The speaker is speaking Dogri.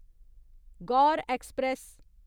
गौर ऐक्सप्रैस